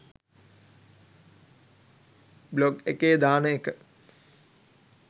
blog එකේ දාන එක